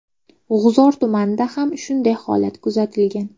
G‘uzor tumanida ham shunday holat kuzatilgan.